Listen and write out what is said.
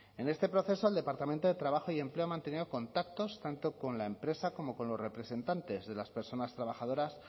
en este proceso el departamento de trabajo y empleo ha mantenido contactos tanto con la empresa como con los representantes de las personas trabajadoras